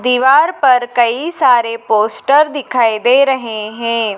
दीवार पर कई सारे पोस्टर दिखाई दे रहे हैं।